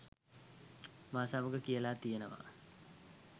මා සමග කියලා තියෙනවා.